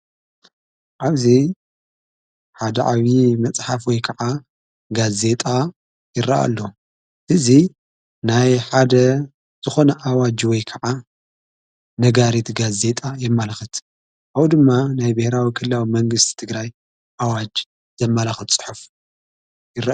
ኣብዙይ ሓደ ዓዊዪ መጽሓፍ ወይ ከዓ ጋ ዜጣ ይረአ ኣሎ እዙ ናይ ሓደ ዝኾነ ኣዋጅ ወይ ከዓ ነጋሪት ጋዝ ዜጣ የማልኽት ኣዉ ድማ ናይ ብኅራዊ ክላዊ መንግሥቲ ዝትግራይ ኣዋጅ ዘማላኽት ጽሑፍ::